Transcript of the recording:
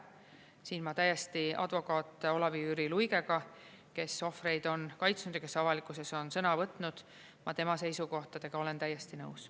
Siin ma täiesti advokaat Olavi-Jüri Luigega, kes ohvreid on kaitsnud ja kes avalikkuses on sõna võtnud, ma tema seisukohtadega olen täiesti nõus.